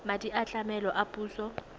madi a tlamelo a puso